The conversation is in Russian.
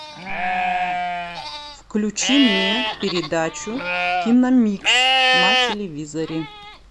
включи мне передачу киномикс на телевизоре